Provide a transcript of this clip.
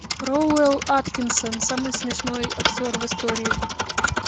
роуэн аткинсон самый смешной актер в истории